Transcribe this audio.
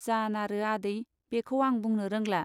जानारो आदै बेखौ आं बुंनो रोंला।